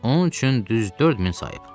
Onun üçün düz 4000 sayıb.